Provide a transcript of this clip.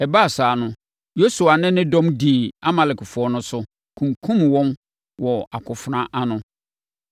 Ɛbaa saa no, Yosua ne ne dɔm dii Amalekfoɔ no so, kunkumm wɔn wɔ akofena ano.